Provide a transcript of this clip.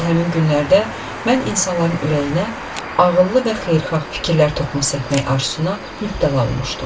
Elə həmin günlərdə mən insanların ürəyinə ağıllı və xeyirxah fikirlər toxumu səpmək arzusuna mübtəla olmuşdum.